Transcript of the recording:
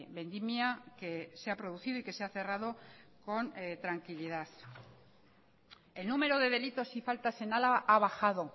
vendimia que se ha producido y que se ha cerrado con tranquilidad el número de delitos y faltas en álava ha bajado